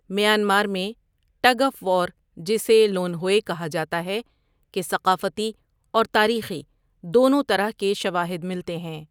Myanmar میں، tug of war, جسے لون ہوے کہا جاتا ہے، کے ثقافتی اور تاریخی دونوں طرح کے شواہد ملتے ہیں۔